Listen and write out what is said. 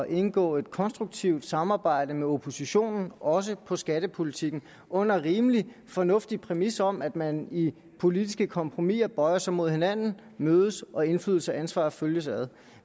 indgå et konstruktivt samarbejde med oppositionen også på skattepolitikken under en rimelig fornuftig præmis om at man i politiske kompromiser bøjer sig mod hinanden mødes og at indflydelse og ansvar følges ad